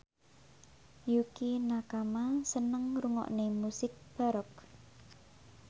Yukie Nakama seneng ngrungokne musik baroque